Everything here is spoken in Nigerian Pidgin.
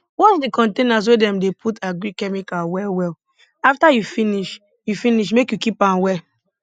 wash di containers wey dem dey put agric chemical well well afta you finish you finish make you keep am well